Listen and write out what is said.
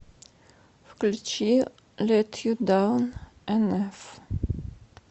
включи лет ю даун энэф